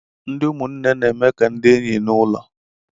Ndị ụmụnne na-eme ka ndị enyi n'ụlọ